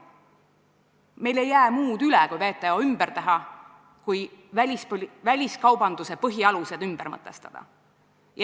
Meil ei jää üle muud, kui WTO ümber teha, väliskaubanduse põhialused ümber mõtestada.